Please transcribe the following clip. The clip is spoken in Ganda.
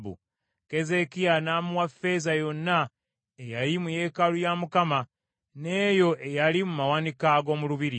Keezeekiya n’amuwa ffeeza yonna eyali mu yeekaalu ya Mukama n’eyo eyali mu mawanika ag’omu lubiri.